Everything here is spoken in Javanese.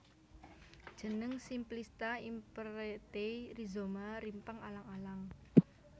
Jeneng Simplista Imperatae Rhizoma rimpang alang alang